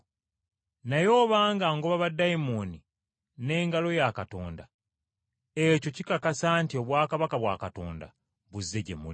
Naye obanga ngoba baddayimooni mu buyinza bwa Katonda, ekyo kikakasa nti obwakabaka bwa Katonda buzze gye muli.